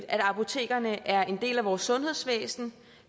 at apotekerne er en del af vores sundhedsvæsen